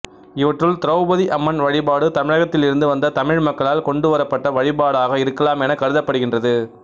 இவற்றுள் திரெளபதி அம்மன் வழிபாடு தமிழகத்தில் இருந்து வந்த தமிழ் மக்களால் கொண்டுவரப்பட்ட வழிபாடாக இருக்கலாம் எனக் கருதப்படுகின்றது